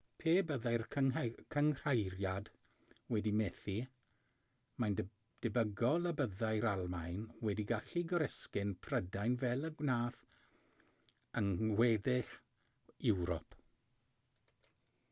pe byddai'r cynghreiriad wedi methu mae'n debygol y byddai'r almaen wedi gallu goresgyn prydain fel y gwnaeth yng ngweddill ewrop